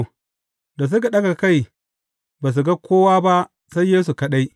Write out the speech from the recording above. Da suka ɗaga kai, ba su ga kowa ba sai Yesu kaɗai.